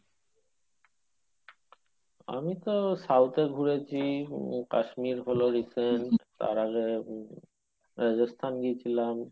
আমি তো south এ ঘুরেছি কাশ্মীর হলো recent তার আগে উম রাজস্থান গেছিলাম